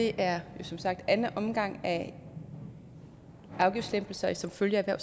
er som sagt anden omgang af afgiftslempelser som følge af